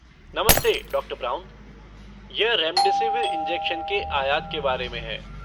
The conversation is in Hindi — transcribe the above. नमस्ते, डॉ. ब्राउन। यह रेमडेसिविर इंजेक्शन के आयात के बारे में है।